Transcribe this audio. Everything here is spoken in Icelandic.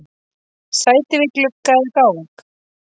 Sæti við glugga eða gang?